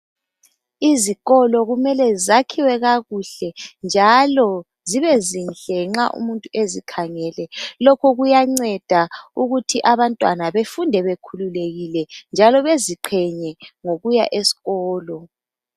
Izikolo kumele zakhiwe kakuhle, njalo zibezinhle nxa umuntu ezikhangele. Lokhu kuyanceda ukuthi abantwana, befunde bekhululekile, njalo beziqhenye ngokuya esikolo.